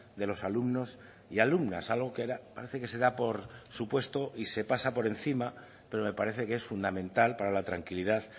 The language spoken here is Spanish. de los alumnos y alumnas algo que parece que se da por supuesto y se pasa por encima pero me parece que es fundamental para la tranquilidad